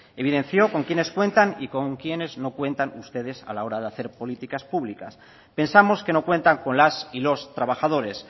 evidenció con quiénes cuentan y con quiénes no cuentan ustedes a la hora de hacer políticas públicas pensamos que no cuentan con las y los trabajadores